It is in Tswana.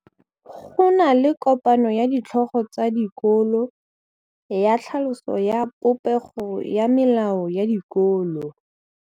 Go na le kopanô ya ditlhogo tsa dikolo ya tlhaloso ya popêgô ya melao ya dikolo.